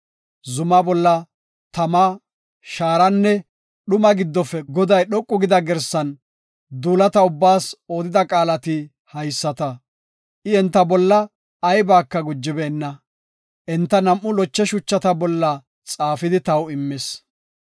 Zumaa bolla tama, shaaranne dhumaa giddofe Goday dhoqu gida girsan duulata ubbaas odida qaalati haysata. I enta bolla aybaka gujibeenna; enta nam7u loche shuchata bolla xaafidi taw immis.